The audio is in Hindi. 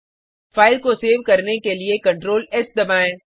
फाइल को सेव करने के लिए Ctrl एस दबाएँ